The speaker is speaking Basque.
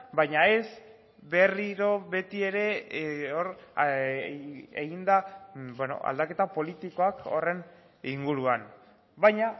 baina ez berriro betiere egin da aldaketa politikoak horren inguruan baina